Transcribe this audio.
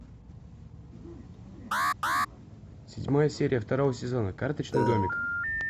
седьмая серия второго сезона карточный домик